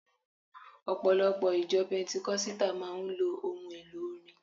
Ọ̀pọ̀lọpọ̀ ìjọ pẹntíkọ́sítà máa ń lò ohun elò orin